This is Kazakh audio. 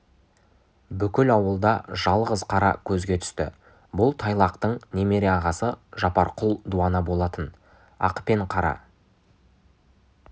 бүкіл ауылда жалғыз қара көзге түсті бұл тайлақтың немере ағасы жапарқұл дуана болатын ақ пен қара